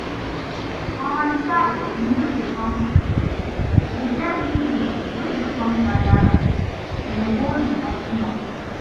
For my side we no dey burn waste, e get people wey dey come gather am den go recycle am